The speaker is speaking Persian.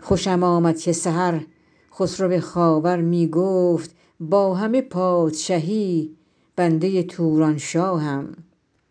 خوشم آمد که سحر خسرو خاور می گفت با همه پادشهی بنده تورانشاهم